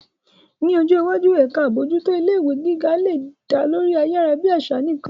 Ní ọjọ́ iwájú, ẹ̀ka àbójútó ilé ìwé àgbà lè dá lórí ayárabíàṣá nìkan.